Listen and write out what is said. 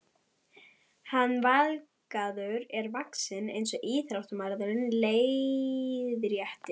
Hann Valgarður er vaxinn eins og íþróttamaður, leiðréttir